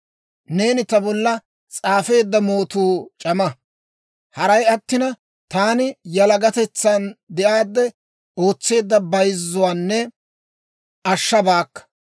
Neeni ta bolla s'aafeedda mootuu c'ama; haray attina, taani yalagatetsan de'aadde ootseedda bayzzuwaanne ashshabaakka.